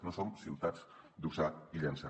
no som ciutats d’usar i llençar